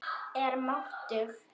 Er máttug.